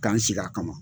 K'an sigi a kama